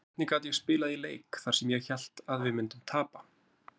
Hvernig gat ég spilað í leik þar sem ég hélt að við myndum tapa?